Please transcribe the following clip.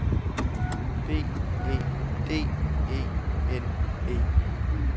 B E D E N E